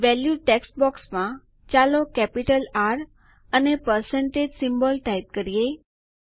value text box મુલ્ય લખાણ બોક્સમાં ચાલો કેપિટલ આર અને પરસેન્ટેજ સિમ્બોલ ટાઈપ કરીએ